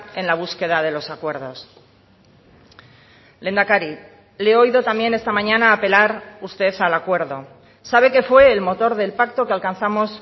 en la búsqueda de los acuerdos lehendakari le he oído también esta mañana apelar usted al acuerdo sabe que fue el motor del pacto que alcanzamos